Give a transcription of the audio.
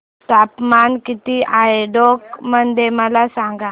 तापमान किती आहे टोंक मध्ये मला सांगा